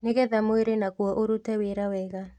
Nĩgetha mwĩrĩ naguo ũrute wĩra wega